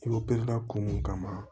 kun mun kama